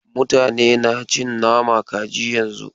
Mutane na cin nama kaji yanzun.